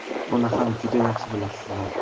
Uni ham juda yaxshi bilasizlar.